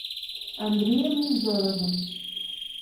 андреем невзоровым